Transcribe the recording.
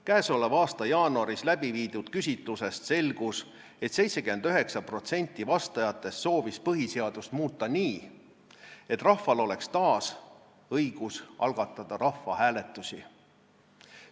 Käesoleva aasta jaanuaris tehtud küsitlusest selgus, et 79% vastajatest soovis põhiseadust muuta nii, et rahval oleks taas õigus algatada rahvahääletusi.